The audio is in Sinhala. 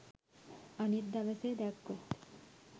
අනිත් දවසේ දැක්කොත්